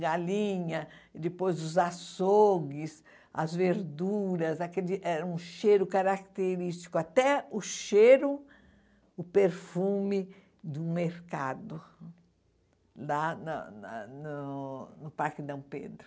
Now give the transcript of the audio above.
Galinha, depois os açougues, as verduras, aquele era um cheiro característico, até o cheiro, o perfume do mercado lá na na no no Parque Dom Pedro.